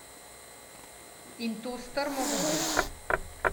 In to strmo v breg ...